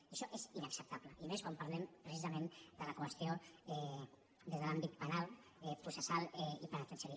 i això és inacceptable i més quan parlem precisament de la qüestió des de l’àmbit penal processal i penitenciari